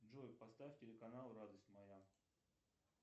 джой поставь телеканал радость моя